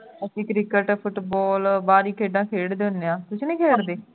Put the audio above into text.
ਅਸੀਂ cricket football ਬਾਹਰੀ ਖੇਡਾਂ ਖੇਡਦੇ ਉਨ੍ਹਾਂ ਤੁਸੀਂ ਨਹੀਂ ਖੇਡਦੇ